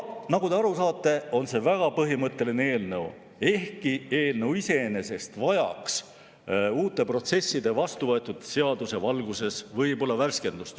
Nagu te aru saate, on see väga põhimõtteline eelnõu, ehkki eelnõu iseenesest vajaks uute protsesside ja vastuvõetud seaduse valguses võib-olla värskendust.